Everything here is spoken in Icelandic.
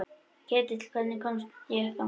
Ketill, hvernig kemst ég þangað?